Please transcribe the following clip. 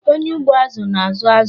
Onye ugbo azụ na-azụ azụ.